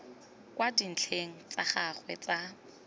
kwa dintlheng tsa gagwe tsa